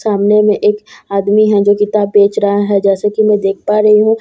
सामने में एक आदमी है जो किताब बेच रहा है जैसे की मैं देख पा रही हूँ वो आदमी --